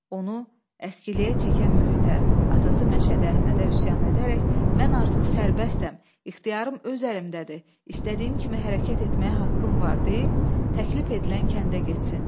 Onu əskiliyə çəkən mühitə, atası Məşədi Əhmədə üsyan edərək mən artıq sərbəstəm, ixtiyarım öz əlimdədir, istədiyim kimi hərəkət etməyə haqqım var deyib təklif edilən kəndə getsin.